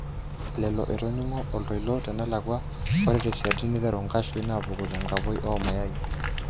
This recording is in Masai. Lello, etoningo oltoilo tenelakwa ore tesiadi neteru nkashuin apuku tenkapoi omayai.